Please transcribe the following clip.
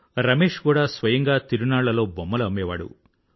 రమేష్ కూడా స్వయంగా తిరునాళ్లలో బొమ్మలు అమ్మేవాడు